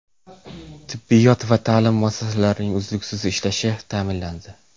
Tibbiyot va ta’lim muassasalarining uzluksiz ishlashi ta’minlandi.